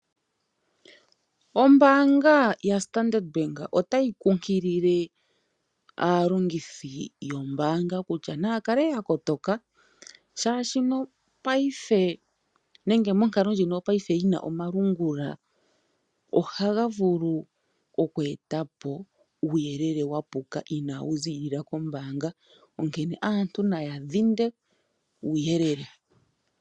Ombaanga yaStandard bank otayi kunkilile aalongithi yombaanga kutya naya kale ya kotoka, oshoka paife nenge monkalo ndjino yopaife yi na omalungula ohaga vulu oku eta po uuyelele wa puka inawu ziilila kombaanga, onkene aantu naya dhinde uuyelele.